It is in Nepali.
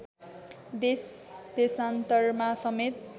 देशदेशान्तरमा समेत